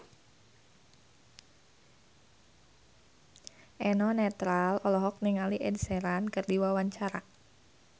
Eno Netral olohok ningali Ed Sheeran keur diwawancara